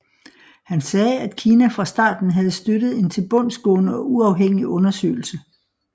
Han sagde at Kina fra starten havde støttet en tilbudsgående og uafhængig undersøgelse